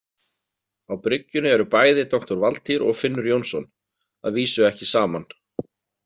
Á bryggjunni eru bæði doktor Valtýr og Finnur Jónsson, að vísu ekki saman.